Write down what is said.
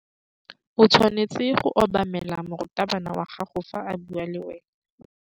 O tshwanetse go obamela morutabana wa gago fa a bua le wena.